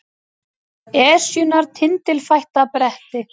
Esjunnar tindilfætta bretti